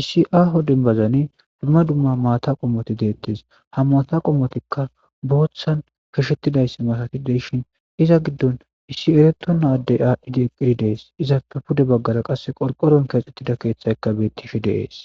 issi aaho dembbazani dumma dumma maata qommoti deettes. Ha maata qommotikka booththan keshettidayssa matati de7shhin iza giddon issi eretona addey aaddhidi eqqidi dees. Izappe pude baggara qasse qorqqoron keexxettida keeththaykka bettishe de7ees.